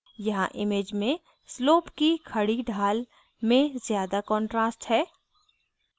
यहाँ image में slope की खड़ी ढाल में ज़्यादा contrast है